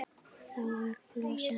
Fyrir átti Flosi eina dóttur